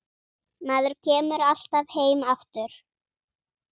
Maður kemur alltaf heim aftur